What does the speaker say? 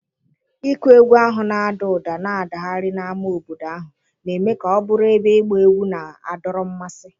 Ịkụ egwú ahụ na-ada ụda na-adagharị n'ámá obodo ahụ, na-eme ka ọ bụrụ ebe ịgba egwú na-adọrọ mmasị.